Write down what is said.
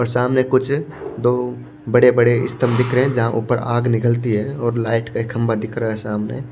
और सामने कुछ दो बड़े-बड़े स्तंभ दिख रहे हैं जहां ऊपर आग निकलती है और लाइट का एक खंभा दिख रहा है सामने--